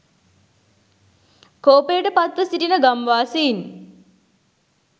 කෝපයට පත්ව සිටින ගම්වාසීන්